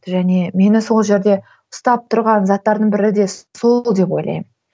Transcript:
және мені сол жерде ұстап тұрған заттардың бірі де сол деп ойлаймын